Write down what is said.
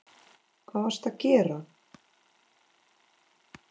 Hvað varstu að gera?